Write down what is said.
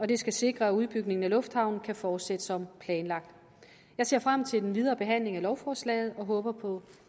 det skal sikre at udbygningen af lufthavnen kan fortsætte som planlagt jeg ser frem til den videre behandling af lovforslaget og håber på